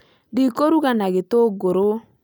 Ndĩ kũruga na gitunguru